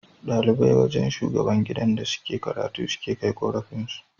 Dalibai wajan shugaban gidan da suke karatu suke Kai korafin su